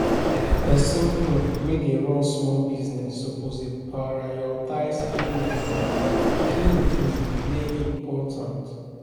If you wan avoid wahala, you gats pay your debt your debt wey dey important first.